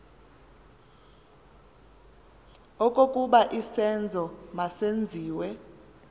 okokuba isenzo masenziwe